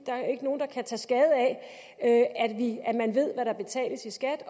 er ikke nogen der kan tage skade af at man ved hvad der betales i skat